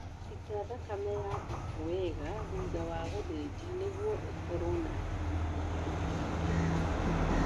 Ita thakame ya mbũku wega thutha wa gũthĩnja nĩguo ĩkorwo na nyama ya gĩkĩro kĩa igũrũ